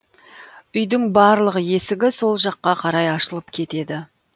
үйдің барлық есігі сол жаққа қарай ашылып кетеді